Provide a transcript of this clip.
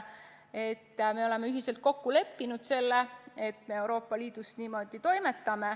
Me oleme ühiselt kokku leppinud, et me Euroopa Liidus niimoodi toimetame.